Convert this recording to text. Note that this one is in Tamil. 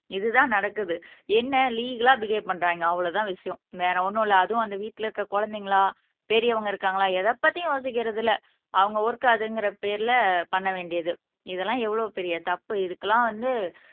இதுதான் நடக்குது என்ன லீகல்லா பிஹவ் பண்றாங்க அவ்வளவுதான் விஷயம் வேற ஒண்ணும் இல்லை அதுவும் அந்த வீட்டுல இருக்க குழந்தைங்களா பெரியவங்க இருக்காங்களா எதைப்பத்தியும் யோசிக்கிறது இல்லை அவங்க ஒர்க் அதுங்கற பேர்ல பண்ண வேண்டியது இதெல்லாம் எவ்வளவு பெரிய தப்பு இதுக்கெல்லாம் வந்து